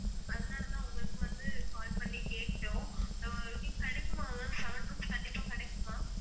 அதனாலதான் உங்களுக்கு வந்து call பண்ணி கேட்டோம் அஹ் கிடைக்குமா ma'am seven rooms கண்டிப்பா கிடைக்குமா